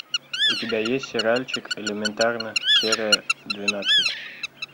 у тебя есть сериальчик элементарно серия двенадцать